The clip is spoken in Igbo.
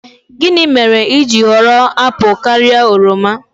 Gịnị mere i ji họrọ apụl karịa oroma?